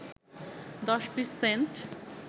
দশ-বিশ Saint